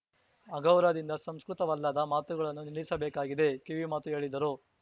ಅಗೌರವದಿಂದ ಸಂಸ್ಕೃತವಲ್ಲದ ಮಾತುಗಳನ್ನು ನಿಲ್ಲಿಸಬೇಕಾಗಿದೆ ಕಿವಿಮಾತು ಹೇಳಿದರು